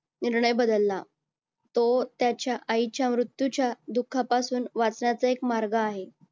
निर्णय बदलला. तो त्याच्या आईच्या मृत्यूच्या दुःखापासून वाचण्याचा एक मार्ग आहे.